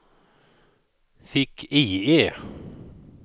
fick-IE